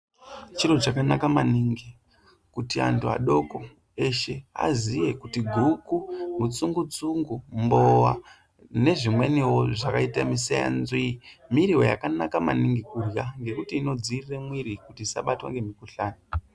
Chiro chakanaka maningi kuti antu adoko azive kuti guku mutsungu tsungu mbowa nezvimweniwo zvakaita musevanzi muriwo yakanaka maningi kurya ngekuti inodzivirira mwiri kuti isabatwa nemikuhlani.